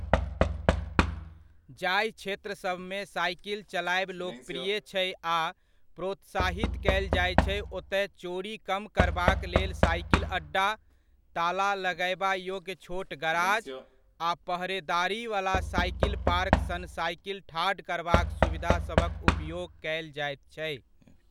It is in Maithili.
जहि क्षेत्रसभमे साइकिल चलायब लोकप्रिय छै आ प्रोत्साहित कयल जायत छै ओतय चोरी कम करबाक लेल साइकिल अड्डा, ताला लगयबा योग्य छोट गराज आ पहरेदारीवला साइकिल पार्क सन साइकिल ठाढ़ करबाक सुविधासभक उपयोग कयल जाइत छै।